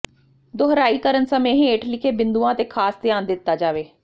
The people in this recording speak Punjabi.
ਦੁਹਰਾਈ ਕਰਨ ਸਮੇਂ ਹੇਠ ਲਿਖੇ ਬਿੰਦੂਆਂ ਤੇ ਖਾਸ ਧਿਆਨ ਦਿੱਤਾ ਜਾਵੇ